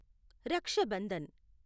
Raksha Bandhan